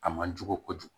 A man jugu kojugu